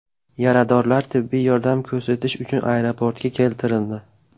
Yaradorlar tibbiy yordam ko‘rsatish uchun aeroportga keltirildi.